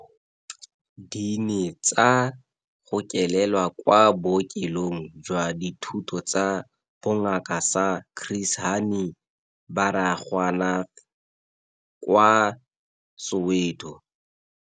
Di ne tsa gokelelwa kwa Bookelong jwa Dithuto tsa Bongaka sa Chris Hani Baragwanath kwa Soweto.